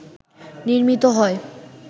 নির্মিত হয়